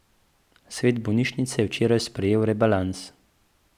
Svet bolnišnice je včeraj sprejel rebalans.